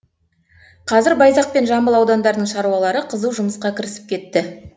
қазір байзақ пен жамбыл аудандарының шаруалары қызу жұмысқа кірісіп кетті